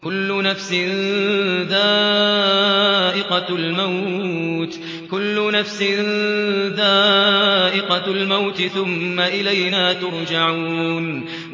كُلُّ نَفْسٍ ذَائِقَةُ الْمَوْتِ ۖ ثُمَّ إِلَيْنَا تُرْجَعُونَ